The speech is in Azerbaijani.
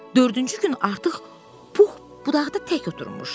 Dördüncü gün artıq Pux budaqda tək oturmuşdu.